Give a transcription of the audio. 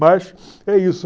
Mas é isso.